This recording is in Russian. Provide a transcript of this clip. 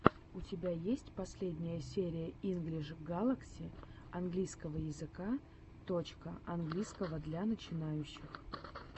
у тебя есть последняя серия инглиш галакси английского языка точка английского для начинающих точка уроки английского языка